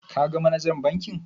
Ka ga manajan bankin?